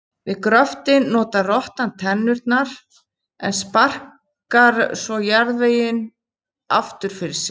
Við gröftinn notar rottan tennurnar en sparkar svo jarðveginum aftur fyrir sig.